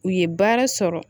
U ye baara sɔrɔ